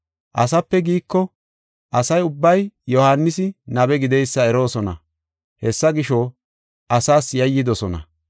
‘Asape giiko’ asa ubbay Yohaanisi nabe gideysa eroosona.” Hessa gisho, asaas yayidosona.